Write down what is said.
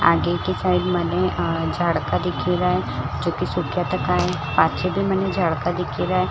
आगे की साइड मने झाड़का दिखी रहा है जो की सुक्या तका है पाछे भी मने झाड़का दिखी रहा है।